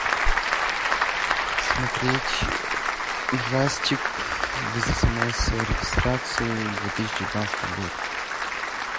смотреть ужастик без смс и регистрации две тысячи девятнадцатый год